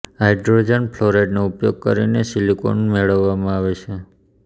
hydrogen ફ્લોરાઇડનો ઉપયોગ કરીને સિલિકોન મેળવવામાં આવે છે